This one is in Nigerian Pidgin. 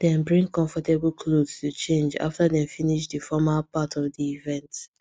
dem bring comfortable clothes to change after dem finish the formal part of the event